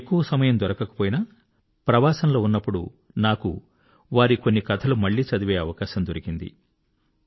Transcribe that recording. ఎక్కువ సమయం దొరకకపోయినా ప్రవాసంలో ఉన్నప్పుడు నాకు వారికొన్ని కథలు మళ్ళీ చదివే అవకాశం దొరికింది